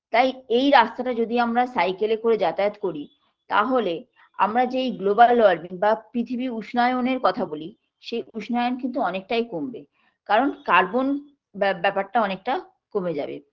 তাই এই রাস্তাটা যদি আমরা cycle -এ করে যাতায়াত করি তাহলে আমরা যেই global warming বা পৃথিবীর উষ্ণায়নের কথা বলি সেই উষ্ণায়ন কিন্তু অনেকটাই কমবে কারণ carbon ব্যা ব্যাপারটা অনেকটা কমে যাবে